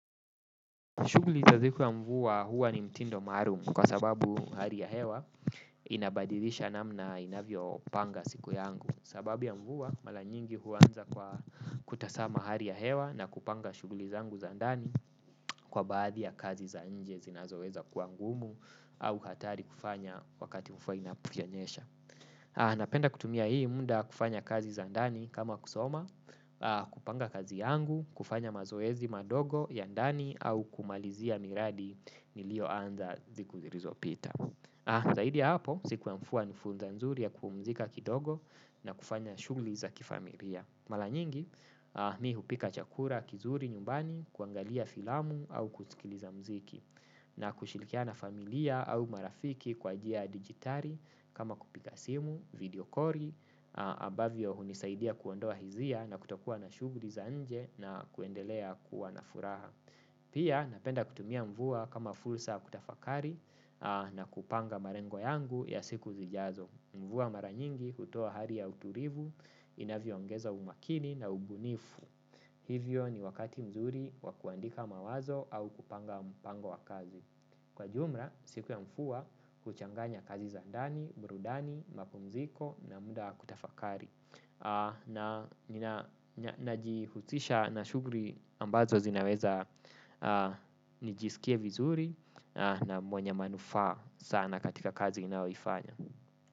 Shuguli za siku ya mvua huwa ni mtindo maalumu kwa sababu hali ya hewa inabadilisha namna inavyopanga siku yangu. Sababu ya mvua mara nyingi huanza kwa kutasama hari ya hewa na kupanga shuguli zangu za ndani kwa baadhi ya kazi za nje zinazoweza kuwa ngumu au hatari kufanya wakati mvua inaponyesha. Napenda kutumia hii muda kufanya kazi za ndani kama kusoma, kupanga kazi yangu, kufanya mazoezi madogo ya ndani au kumalizia miradi niliyoanza siku silizopita. Zaidi ya hapo siku ya mvua ni funza nzuri ya kupumzika kidogo na kufanya shugli za kifamilia. Mara nyingi mi hupika chakula kizuri nyumbani kuangalia filamu au kusikiliza mziki na kushirikiana na familia au marafiki kwa njia ya digitali kama kupiga simu, video koli abavyo hunisaidia kuondoa hisia na kutokuwa na shuguli za nje na kuendelea kuwa na furaha. Pia napenda kutumia mvua kama fursa ya kutafakari na kupanga malengo yangu ya siku zijazo. Mvua mara nyingi hutoa hali ya utulivu inavyoongeza umakini na ubunifu. Hivyo ni wakati mzuri wa kuandika mawazo au kupanga mpango wa kazi. Kwa jumla, siku ya mvua huchanganya kazi za ndani, burudani, mapumziko na muda wa kutafakari. Najihusisha na shuguli ambazo zinaweza nijisikie vizuri na mwenye manufaa sana katika kazi ninayoifanya.